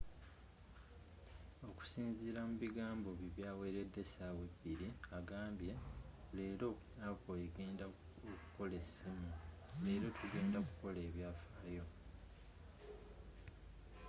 okusinzira mu bigambo bye byaweredde essawa ebiri agambye”leera apple egenda okukola e ssimu, leero tugenda ku kola ebyafayo.